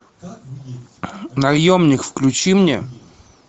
наемник включи мне